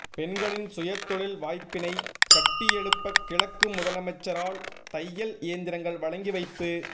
பெண்களின் சுயதொழில் வாய்ப்பினை கட்டியெழுப்ப கிழக்கு முதலமைச்சரால் தையல் இயந்திரங்கள் வழங்கி வைப்பு